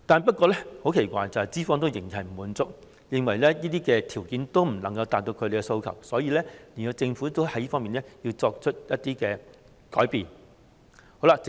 不過，很奇怪的是，資方仍然不滿足，認為這些條件仍未能達到他們的要求，所以，政府要就此作出一些改變。